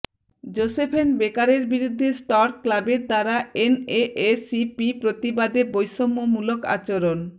Josephine বেকারের বিরুদ্ধে Stork ক্লাবের দ্বারা এনএএসিপি প্রতিবাদে বৈষম্যমূলক আচরণ